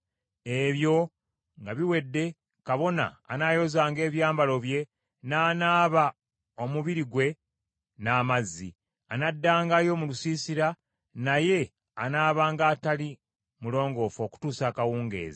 Ebyo nga biwedde kabona anaayozanga ebyambalo bye n’anaaba omubiri gwe n’amazzi. Anaddangayo mu lusiisira, naye anaabanga atali mulongoofu okutuusa akawungeezi.